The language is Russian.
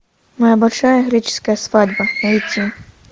моя большая греческая свадьба найти